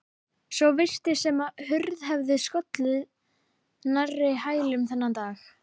Svo virtist sem hurð hefði skollið nærri hælum þennan dag.